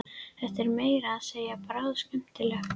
Þetta er meira að segja bráðskemmtilegt!